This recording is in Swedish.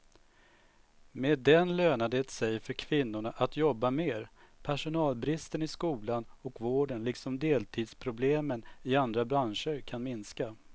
Med den lönar det sig för kvinnorna att jobba mer, personalbristen i skolan och vården liksom deltidsproblemen i andra branscher kan minska.